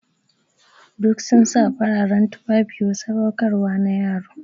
Duk sun sa fararen tufafi wa sadaukarwa na yaro.